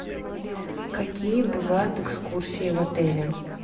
какие бывают экскурсии в отеле